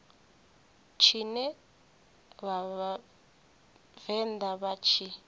tshine vha vhavenḓa vha tshi